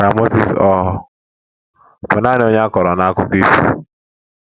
Ka Mozis ọ̀ bụ nanị onye a kọrọ n’akụkọ ifo?